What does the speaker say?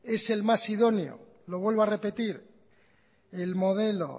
es el más idóneo lo vuelvo a repetir el modelo